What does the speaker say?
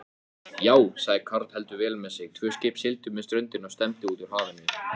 Tvö skip sigldu með ströndinni og stefndu út úr hafinu.